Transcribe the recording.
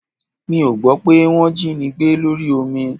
Mi ò gbọ́ pé wọ́ jínigbé lórí omi